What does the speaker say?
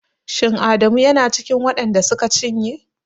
Shin Adamu yana cikin waɗan da suka cinye?